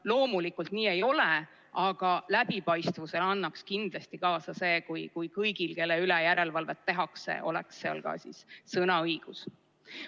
Loomulikult nii ei ole, aga läbipaistvusele aitaks kindlasti kaasa see, kui kõigil, kelle üle järelevalvet tehakse, oleks seal ka sõnaõigus.